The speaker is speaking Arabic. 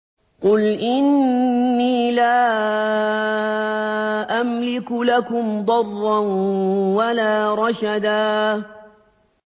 قُلْ إِنِّي لَا أَمْلِكُ لَكُمْ ضَرًّا وَلَا رَشَدًا